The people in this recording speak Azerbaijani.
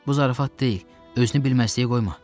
Bu zarafat deyil, özünü bilməzliyə qoyma.